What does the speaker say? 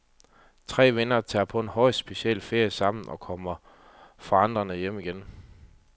Tre venner tager på en højst speciel ferie sammen og kommer forvandlede hjem igen.